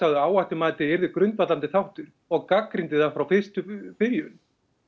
að áhættumatið yrði grundvallandi þáttur og gagnrýndi það frá byrjun